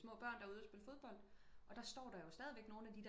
Små børn der er ude og spille fodbold og der står jo stadig nogle af de der